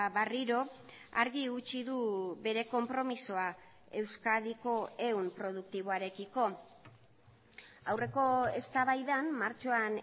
berriro argi utzi du bere konpromisoa euskadiko ehun produktiboarekiko aurreko eztabaidan martxoan